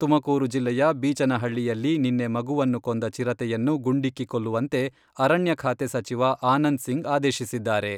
ತುಮಕೂರು ಜಿಲ್ಲೆಯ ಬೀಚನಹಳ್ಳಿಯಲ್ಲಿ ನಿನ್ನೆ ಮಗುವನ್ನು ಕೊಂದ ಚಿರತೆಯನ್ನು ಗುಂಡಿಕ್ಕಿ ಕೊಲ್ಲುವಂತೆ ಅರಣ್ಯ ಖಾತೆ ಸಚಿವ ಆನಂದ್ಸಿಂಗ್ ಆದೇಶಿಸಿದ್ದಾರೆ.